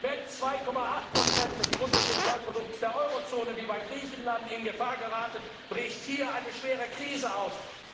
Wenn 2,8 des Bruttosozialprodukts der Eurozone, wie bei Griechenland, in Gefahr geraten, bricht hier eine schwere Krise aus.